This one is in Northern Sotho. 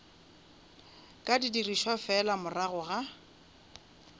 ka dirišwa fela morago ga